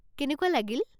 কেনেকুৱা লাগিল?